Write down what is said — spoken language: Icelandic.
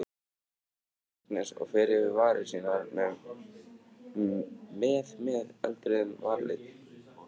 spyr Agnes og fer yfir varir sínar með með eldrauðum varalit.